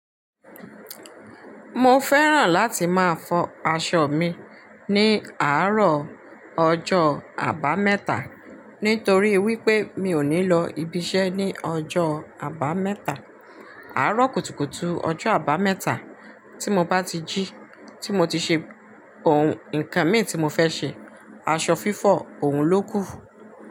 Mo fẹ́ràn láti máa fọ aṣọ mi ní àárọ̀ ọjọ́ Àbámẹ́ta nítorí wípé mi ò ní lọ ibiṣẹ́ ní ọjọ́ Àbámẹ́ta. Àárọ̀ kùtùkùtù ọjọ́ Àbámẹ́ta tí mo bá ti jí, tí mo ti ṣe oun nǹkan mi tí mo fẹ́ ṣe, aṣọ fífọ̀ òun ló kù.